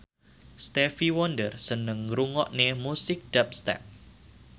Stevie Wonder seneng ngrungokne musik dubstep